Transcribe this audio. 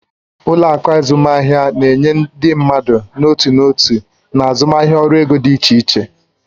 Ụlọ akụ azụmaahịa na-enye ndị mmadụ n'otu n'otu na azụmaahịa ọrụ ego dị iche iche.